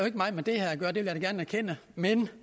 ikke meget med det her at gøre det vil jeg da gerne erkende men